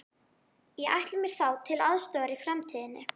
Ég ætla mér þá til aðstoðar í framtíðinni.